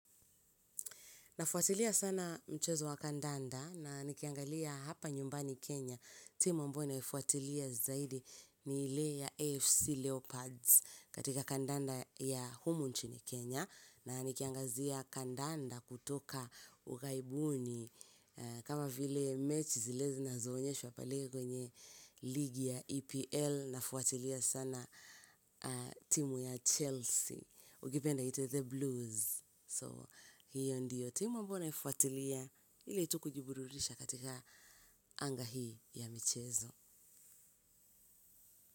Na fuatilia sana mchezo wa kandanda na nikiangalia hapa nyumbani Kenya. Timu ambayo naifuatilia zaidi ni ile ya AFC Leopards katika kandanda ya humu nchini Kenya. Na nikiangazia kandanda kutoka ughaibuni. Kama vile match zilezi na zo onyeshwa pale kwenye ligi ya EPL. Na fuatilia sana timu ya Chelsea. Ukipenda iite The Blues. So, hiyo ndiyo, tima ambayo naifuatilia ili tu kujiburudisha katika anga hii ya michezo.